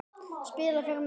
Spila fyrir mig?